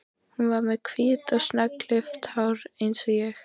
Hún var með hvítt og snöggklippt hár eins og ég.